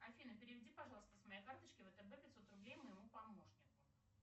афина переведи пожалуйста с моей карточки втб пятьсот рублей моему помощнику